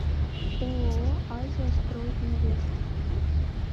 ооо азия строй инвест